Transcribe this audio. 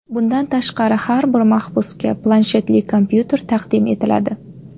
Bundan tashqari, har bir mahbusga planshetli kompyuter taqdim etiladi.